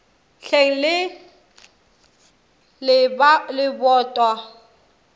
hleng le lebota mokgako wo